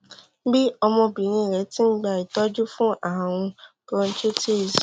bí ọmọbìnrin rẹ ti ń gba ìtọjú fún ààrùn bronchitis